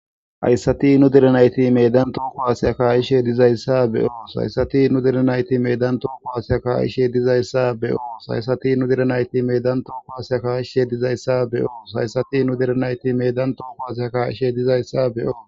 Hayssati nu direnayti meedan tooko haseya kaqishe dizayssa be7oos hayssati nu direnayti meedan tooko haaseya kaaishe dizayssa beyoo hayssati nu direnayti meddan tooko hasea kaaqishshe dizayssa beyoos hayssati nu direnayti meddan tooko hase a kaishe dizayssa be7oo.